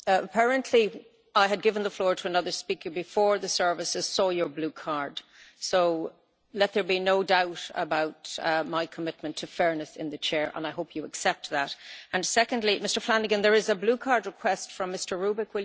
Apparently I had given the floor to another speaker before the services saw your blue card, so let there be no doubt about my commitment to fairness in the Chair, and I hope you accept that. Secondly, Mr Flanagan, there is a blue card request from Mr Rübig.